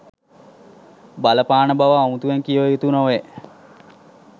බලපාන බව අමුතුවෙන් කිව යුතු නොවේ.